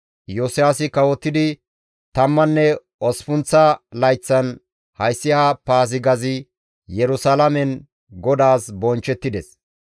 Iyosiyaasi kawotidi tamman osppunththa layththan hayssi ha Paazigazi Yerusalaamen GODAAS bonchchettides.